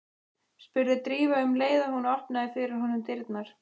spurði Drífa um leið og hún opnaði fyrir honum dyrnar.